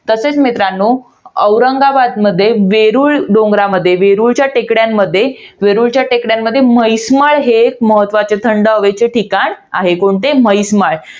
तसेच मित्रांनो, औरंगाबादमध्ये वेरूळ डोंगरामध्ये, वेरुळच्या टेकड्यांमध्ये, वेरुळच्या टेकड्यांमध्ये म्हैसमाळ हे एक महत्वाचे थंड हवेचे ठिकाण आहे. कोणते? म्हैसमाळ.